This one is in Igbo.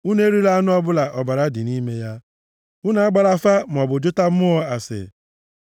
“ ‘Unu erila anụ ọbụla ọbara dị nʼime ya. “ ‘Unu agbala afa maọbụ jụta mmụọ ase.